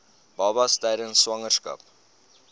babas tydens swangerskap